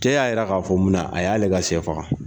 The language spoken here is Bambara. Cɛ y'a yira ka fɔ munna a y'ale ka sɛ faga?